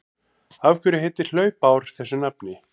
Af hverju heitir hlaupár þessu nafni?